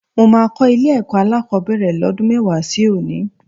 Mo máa kọ́ ilé-ẹ̀kọ́ alákọ̀ọ́bẹ̀rẹ̀ lọ́dún mẹ́wàá sí òní